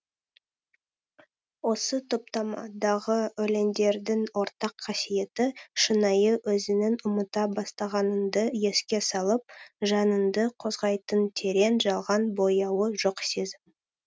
осы топтамадағы өлеңдердің ортақ қасиеті шынайы өзіңнің ұмыта бастағаныңды еске салып жаныңды қозғайтын терең жалған бояуы жоқ сезім